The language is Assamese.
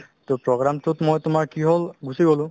to program তোত মই তোমাৰ কি হ'ল গুচি গ'লো